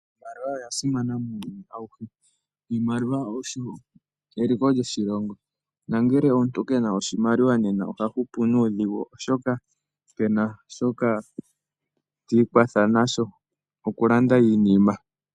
Iimaliwa oya simana muuyuni awuhe. Iimaliwa oyo eliko lyoshilongo, nongele omuntu ke na oshimaliwa oha hupu nuudhigu oshoka ke na shoka ti ikwatha nasho okulanda iinima.